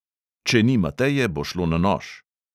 Če ni mateje, bo šlo na nož.